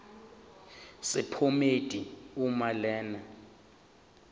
sephomedi uma lena